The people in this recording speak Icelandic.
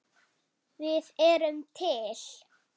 Við erum til!